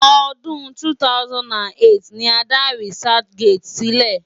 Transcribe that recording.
Ọdún 2008 ni a dá researchgate sílẹ̀.